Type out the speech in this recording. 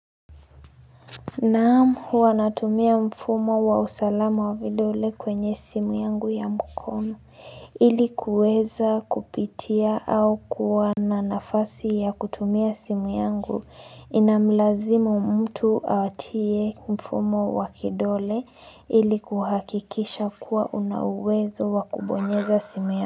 Naam huwa natumia mfumo wa usalama wa vidole kwenye simu yangu ya mkono ili kuweza kupitia au kuwa na nafasi ya kutumia simu yangu ina mlazimu mtu atie mfumo wa kidole ili kuhakikisha kuwa una uwezo wa kubonyeza simu ya.